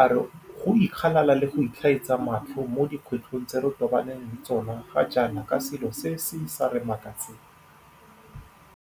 a re go ikgalala le go itlhaetsa matlho mo dikgwetlhong tse re tobaneng le tsona ga jaana ke selo se se sa re makatseng.